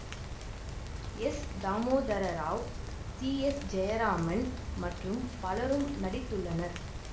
S Damodara Rao C S Jayaraman மற்றும் பலரும் நடித்துள்ளனர்